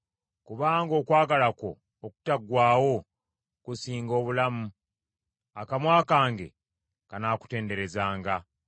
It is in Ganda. Kubanga okwagala kwo okutaggwaawo kusinga obulamu; akamwa kange kanaakutenderezanga.